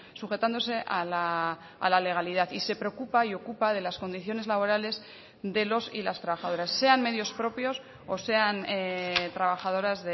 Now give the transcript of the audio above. sujetándose a la legalidad y se preocupa y ocupa de las condiciones laborales de los y las trabajadoras sean medios propios o sean trabajadoras